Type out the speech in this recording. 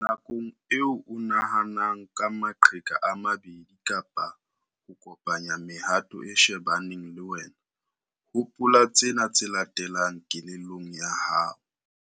Nakong eo o nahanang ka maqheka a mabedi kapa ho kopanya mehato e shebaneng le wena, hopola tsena tse latelang kelellong ya hao.